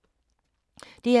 DR2